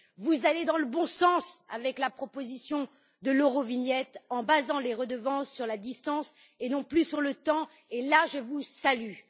Vous allez dans le bon sens avec la proposition de l'Eurovignette en basant les redevances sur la distance et non plus sur le temps. Sur ce point, je vous salue.